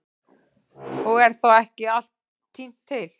Og er þá ekki allt tínt til.